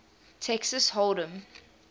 texas hold em